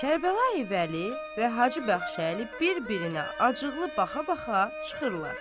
Kərbəlayi Vəli və Hacı Bəxşəli bir-birinə acıqlı baxa-baxa çıxırlar.